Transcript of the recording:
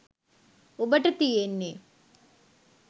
ඔබට තියෙන්නේ